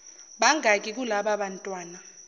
bangaki kulaba bantwana